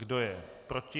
Kdo je proti?